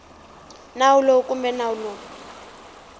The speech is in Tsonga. nawu lowu kumbe nawu lowu